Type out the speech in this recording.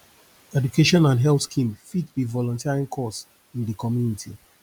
education and health scheme fit be volunteering cause in di community